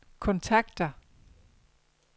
kontakter